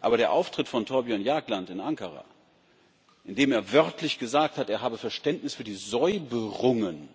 Aber der Auftritt von Thorbjørn Jagland in Ankara, bei dem er wörtlich gesagt hat, er habe Verständnis für die Säuberungen,